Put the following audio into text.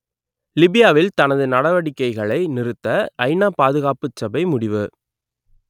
லிபியாவில் தனது நடவடிக்கைகளை நிறுத்த ஐநா பாதுகாப்புச் சபை முடிவு